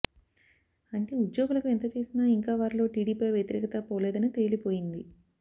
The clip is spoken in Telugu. అంటే ఉద్యోగులకు ఎంతచేసినా ఇంకా వారిలో టిడిపిపై వ్యతిరేకత పోలేదని తేలిపోయింది